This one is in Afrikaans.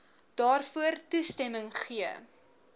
daarvoor toestemming gegee